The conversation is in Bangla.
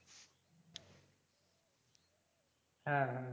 হ্যাঁ হ্যাঁ